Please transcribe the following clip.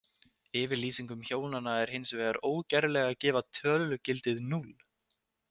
Yfirlýsingum hjónanna er hins vegar ógerlegt að gefa tölugildið núll.